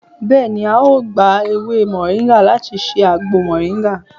beeni ao gba ewé moringa lati se agbo moringa.